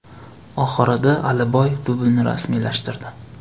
Oxirida Aliboyev dublini rasmiylashtirdi.